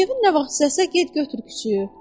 Kevin nə vaxt istəsə, get götür küçüyü.